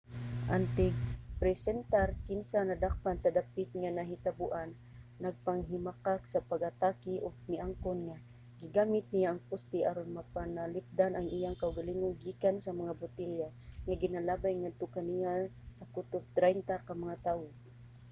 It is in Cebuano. ang tigpresentar kinsa nadakpan sa dapit nga nahitaboan nagpanghimakak sa pag-atake ug miangkon nga gigamit niya ang poste aron mapanalipdan ang iyang kaugalingon gikan sa mga botelya nga ginalabay ngadto kaniya sa kutob traynta ka mga tawo